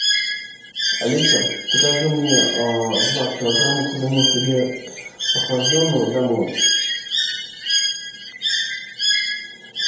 алиса закажи мне два килограмма куриного филе охлажденного домой